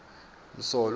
msolwa